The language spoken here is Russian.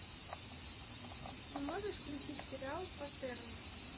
ты можешь включить сериал патерно